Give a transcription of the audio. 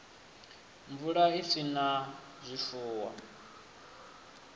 mvula i sa na zwifuwo